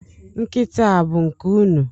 Nkịta a bụ nke unu?